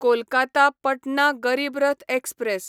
Kolkata Patna Garib Rath express